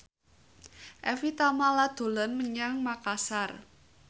Evie Tamala dolan menyang Makasar